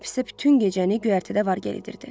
Kap isə bütün gecəni göyərtədə var-gəl edirdi.